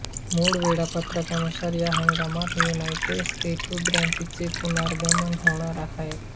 मूळ वेळापत्रकानुसार या हंगामात युनायटेड स्टेट्स ग्रांप्री चे पुनरागमन होणार आहे